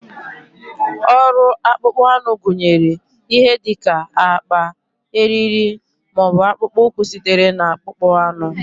Ọrụ akpụkpọ anụ gụnyere ihe dị ka akpa, eriri, ma ọ bụ akpụkpọ ụkwụ sitere na akpụkpọ anụ.